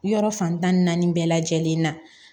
Yɔrɔ fan tan ni naani bɛɛ lajɛlen na